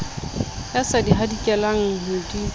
ya sa di hadikelang ho